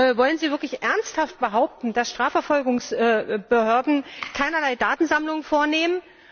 Wollen Sie wirklich ernsthaft behaupten, dass Strafverfolgungsbehörden keinerlei Datensammlung vornehmen?